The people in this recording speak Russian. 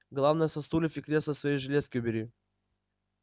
главное со стульев и кресла свои железки убери